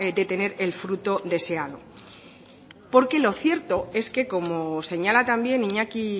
de tener el fruto deseado porque lo cierto es que como señala también iñaki